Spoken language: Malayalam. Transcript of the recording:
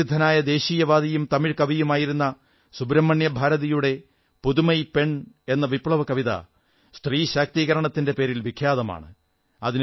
പ്രസിദ്ധനായ രാഷ്ട്രവാദിയും തമിഴ് കവിയുമായിരുന്ന സുബ്രഹ്മണ്യഭാരതിയുടെ പുതമൈ പെൺ പുതിയ സ്ത്രീ എന്ന വിപ്ലവകവിത സ്ത്രീശാക്തീകരണത്തിന്റെ പേരിൽ വിഖ്യാതമാണ്